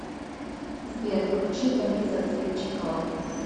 сбер включи бориса сливчикова